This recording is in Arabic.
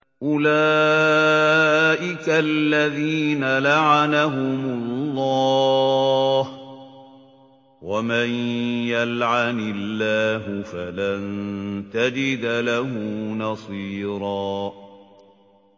أُولَٰئِكَ الَّذِينَ لَعَنَهُمُ اللَّهُ ۖ وَمَن يَلْعَنِ اللَّهُ فَلَن تَجِدَ لَهُ نَصِيرًا